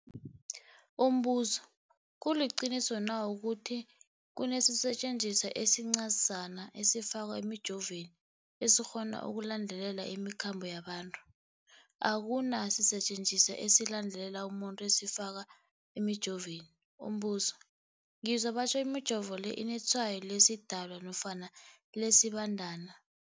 Umbuzo, kuliqiniso na ukuthi kunesisetjenziswa esincazana esifakwa emijovweni, esikghona ukulandelela imikhambo yabantu? Akuna sisetjenziswa esilandelela umuntu esifakwe emijoveni. Umbuzo, ngizwa batjho imijovo le inetshayo lesiDalwa nofana lesiBandana